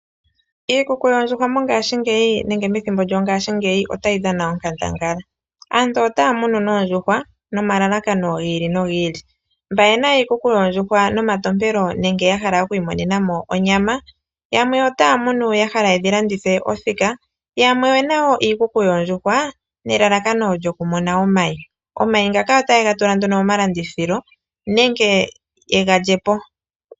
Iikuku yoondjuhwa mongashingeyi nenge methimbo lyongashingeyi otayi dhana onkandangala. Aantu otaya munu noondjuhwa nomalalakano gi ili nogi ili, mba ye na iikuku yoondjuhwa nomatompelo nenge ya hala oku imonena mo onyama, yamwe otaya munu ya hala yedhi landithe othika, yamwe oye na woo iikuku yoondjuhwa nelalakano lyokumona omayi. Omayi ngaka otaye ga tula nduno momalandithilo nenge ye ga lye po.